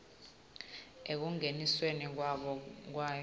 ekungeniseni kwabo kwayo